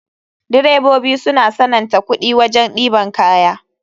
Direbobi suna sananta kuɗi wajen ɗeban kaya.